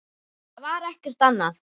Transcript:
Það var ekkert annað.